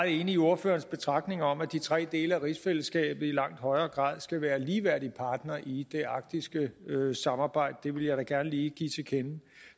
enig i ordførerens betragtninger om at de tre dele af rigsfællesskabet i langt højere grad skal være ligeværdige partnere i det arktiske samarbejde det vil jeg da gerne lige give til kende